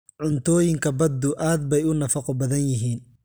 Cuntooyinka baddu aad bay u nafaqo badan yihiin.